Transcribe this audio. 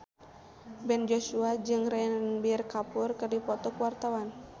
Ben Joshua jeung Ranbir Kapoor keur dipoto ku wartawan